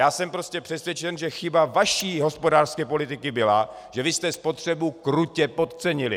Já jsem prostě přesvědčen, že chyba vaší hospodářské politiky byla, že vy jste spotřebu krutě podcenili.